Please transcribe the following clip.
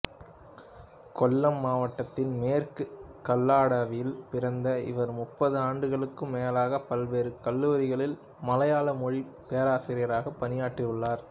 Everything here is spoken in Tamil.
கொல்லம் மாவட்டத்தின் மேற்கு கல்லடாவில் பிறந்த இவர் முப்பது ஆண்டுகளுக்கும் மேலாக பல்வேறு கல்லூரிகளில் மலையாள மொழி பேராசிரியராக பணியாற்றியுள்ளார்